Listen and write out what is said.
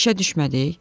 İşə düşmədik.